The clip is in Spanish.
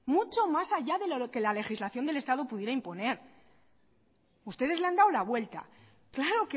mucho más allá de lo que la legislación del estado pudiera imponer ustedes le han dado la vuelta claro